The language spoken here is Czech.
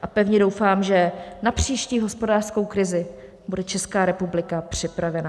A pevně doufám, že na příští hospodářskou krizi bude Česká republika připravena.